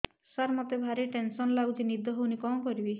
ସାର ମତେ ଭାରି ଟେନ୍ସନ୍ ଲାଗୁଚି ନିଦ ହଉନି କଣ କରିବି